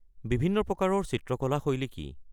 বিভিন্ন প্ৰকাৰৰ চিত্ৰকলা শৈলী কি?